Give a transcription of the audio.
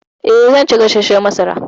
Eh, zan ci gasashshan masara.